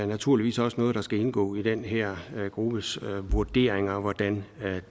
naturligvis også noget der skal indgå i den her gruppes vurderinger altså hvordan